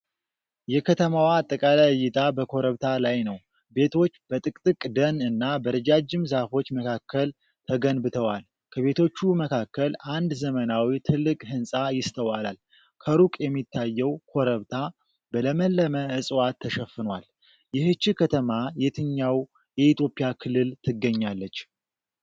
የ ከተማዋ አጠቃላይ እይታ ከኮረብታ ላይ ነው። ቤቶች በጥቅጥቅ ደን እና በረጃጅም ዛፎች መካከል ተገንብተዋል። ከቤቶቹ መካከል አንድ ዘመናዊ ትልቅ ሕንፃ ይስተዋላል። ከሩቅ የሚታየው ኮረብታ በለመለመ ዕፅዋት ተሸፍኗል። ይህች ከተማ የትኛው የኢትዮጵያ ክልል ትገኛለች?